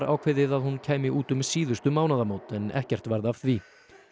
ákveðið að hún kæmi út um síðustu mánaðamót en ekkert varð af því